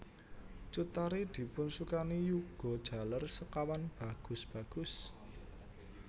Cut Tari dipunsukani yuga jaler sekawan bagus bagus